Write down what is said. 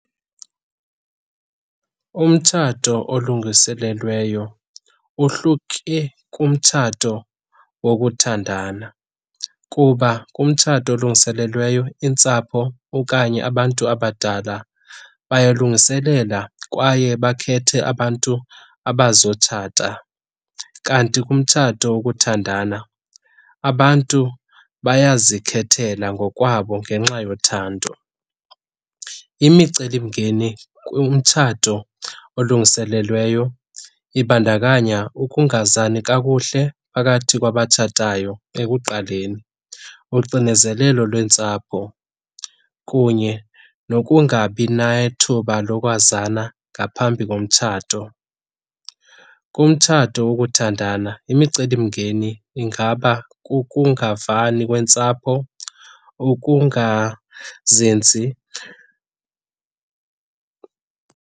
Umtshato olungiselelweyo uhluke kumtshato wokuthandana kuba kumtshato olulungiselelweyo iintsapho okanye abantu abadala bayalungiselela kwaye bakhethe abantu abazotshata. Kanti kumtshato wokuthandana abantu bayazikhethela ngokwabo ngenxa yothando. Imicelimngeni kumtshato olulungiselelweyo ibandakanya ukungazani kakuhle phakathi kwabatshatayo ekuqaleni, uxinezelelo lweentsapho kunye nokungabi nethuba lokwazana ngaphambi komtshato. Kumtshato wokuthandana imicelimngeni ingaba kukungavani kweentsapho, ukungazinzi.